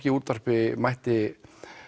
í útvarpi mætti